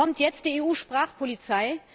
Kommt jetzt die EU Sprachpolizei?